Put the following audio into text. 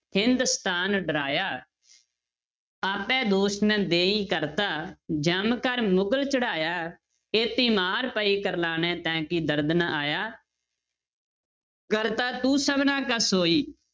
ਹਿੰਦੁਸਤਾਨੁ ਡਰਾਇਆ ਆਪੈ ਦੋਸੁ ਨ ਦੇਈ ਕਰਤਾ ਜਮੁ ਕਰਿ ਮੁਗਲੁ ਚੜਾਇਆ, ਏਤੀ ਮਾਰ ਪਈ ਕਰਲਾਣੇ ਤੈਂ ਕੀ ਦਰਦੁ ਨ ਆਇਆ ਕਰਤਾ ਤੂੰ ਸਭਨਾ ਕਾ ਸੋਈ